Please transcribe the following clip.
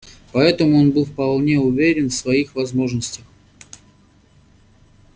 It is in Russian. поэтому он был вполне уверен в своих возможностях